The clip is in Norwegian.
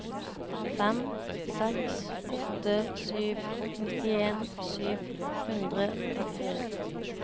fem seks åtte sju nittien sju hundre og trettifire